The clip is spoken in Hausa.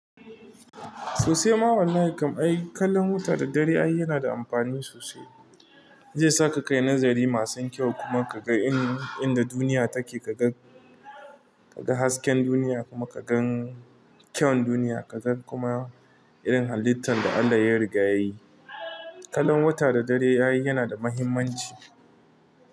Sosai ma wallahi ai kallon wata da dare yana da amfani sosai. Zai sa ka kai nazari masu kyau kuma ka ga inda duniya take, ka ga hasken duniya kuma ka gan kyawun duniya, ka gan kuma irin halittar da Allah ya rigayayi. Kallon wata da dare ai yana da muhimmanci.